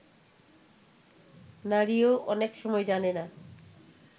নারীও অনেক সময় জানে না